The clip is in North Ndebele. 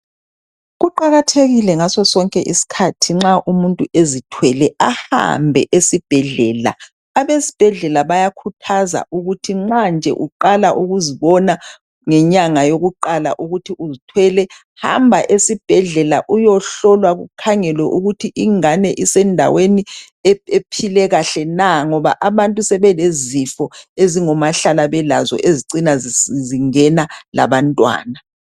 Kuqakathekile ngasosonke isikhathi nxa umuntu ezithwele ahambe esibhedlela. Abesibhedlela bayakhuthaza ukuthi nxa nje uqala ukuzibona ngenyanga yokuqala ukuthi uzithwele hamba esibhedlela uyohlolwa kukhangelwe ukuthi ingane isendaweni ephile kahle na ngoba abantu sebelezifo ezingomahlala belazo ezicina zingena labantwana.